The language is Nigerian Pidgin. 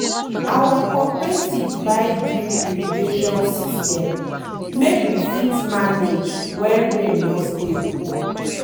our cooperative buy drip irrigation system make we fit manage when rain no stable.